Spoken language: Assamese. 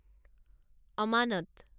অমানত